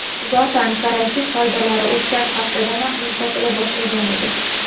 Zotan, karantin qoidalari o‘tgan haftadanoq yumshatila boshlagan edi.